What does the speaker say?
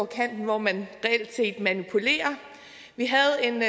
kanten hvor man reelt set manipulerer vi havde en